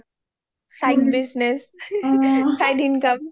side business side income O